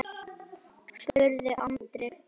spurði Andri.